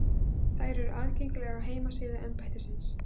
Þær eru aðgengilegar á heimasíðu embættisins